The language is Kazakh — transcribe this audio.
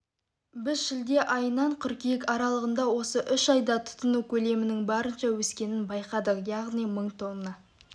біз шілде айынан қыркүйек аралығында осы үш айда тұтыну көлемінің барынша өскенін байқадық яғни мың тонна